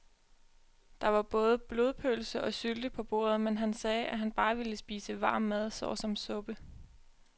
Der var både blodpølse og sylte på bordet, men han sagde, at han bare ville spise varm mad såsom suppe.